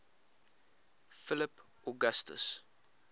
philip augustus